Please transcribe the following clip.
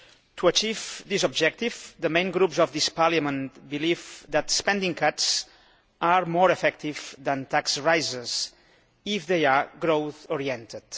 To achieve this objective the main groups of this Parliament believe that spending cuts are more effective than tax rises if they are growth oriented.